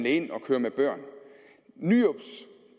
ind og køre med børn nyrups